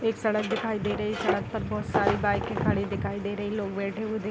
एक सड़क दिखाई दे रही है। सड़क पर बहुत सारी बाइक खड़ी हुई दिखाई दे रही है। लोग बैठे दिख --